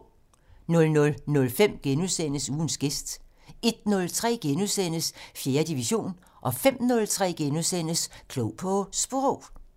00:05: Ugens gæst * 01:03: 4. division * 05:03: Klog på Sprog *